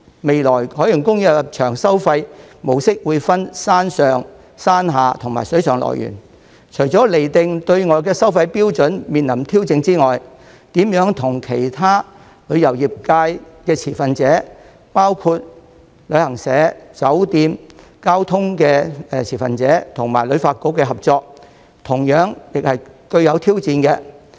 未來海洋公園的入場收費模式會分山上、山下及水上樂園，除了釐定對外收費標準面臨挑戰外，如何與其他旅遊業界的持份者，包括旅行社、酒店、交通持份者及香港旅遊發展局的合作，同樣是具有挑戰。